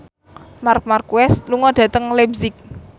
Marc Marquez lunga dhateng leipzig